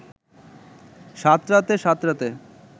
সাঁতরাতে সাঁতরাতে